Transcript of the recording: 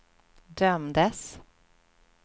dömdes